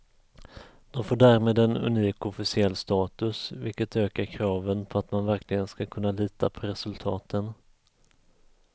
Det får därmed en unik officiell status, vilket ökar kraven på att man verkligen ska kunna lita på resultaten.